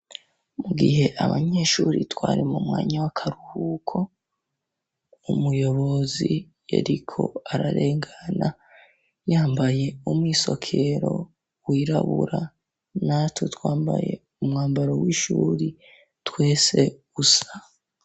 Mu gihe abanyeshuri twari mu mwanya w'akaruhuko, umuyobozi yariko ararengana yambaye umwisokero wirabura natwe twambaye umwambaro w'ishuri twese gusa.